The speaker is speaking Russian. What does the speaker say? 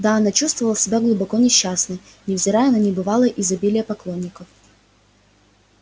да она чувствовала себя глубоко несчастной невзирая на небывалое изобилие поклонников